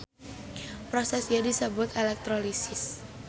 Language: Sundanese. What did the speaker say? Proses ieu disebut elektrolisis.